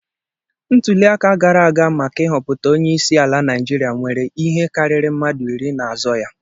Ntuli aka gara aga maka ịhọpụta onye isi ala Naịjiria nweere ihe karịrị mmadụ iri na-azọ ya.